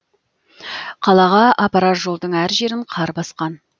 қалаға апарар жолдың әр жерін қар басқан